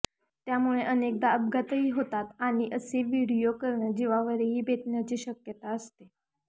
त्यामुळे अनेकदा अपघातही होतात आणि असं व्हिडिओ करणं जीवावरही बेतण्याची शक्यता असते